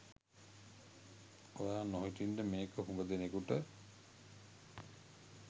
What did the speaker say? ඔයා නොහිටින්ඩ මේක හුග දෙනෙකුට